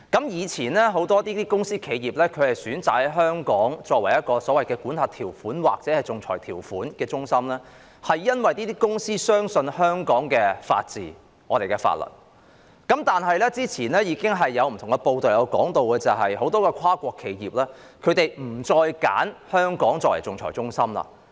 以往很多公司或企業選擇香港為仲裁中心，因為他們相信香港的法治和法律，但早前有報道指出，很多跨國企業已不再選擇香港作為仲裁中心。